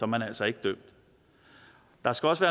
man altså ikke dømt der skal også